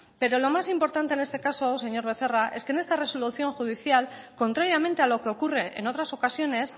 pero lo más importante en este caso señor becerra es que en esta resolución judicial contrariamente a lo que ocurre en otras ocasiones